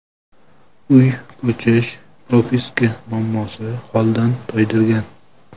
Uy, ko‘chish, propiska muammosi holdan toydirgan.